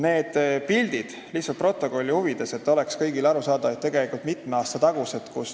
Need pildid – ütlen lihtsalt protokolli huvides, et kõigile oleks arusaadav – on tegelikult mitme aasta tagused.